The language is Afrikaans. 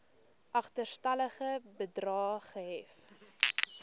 agterstallige bedrae gehef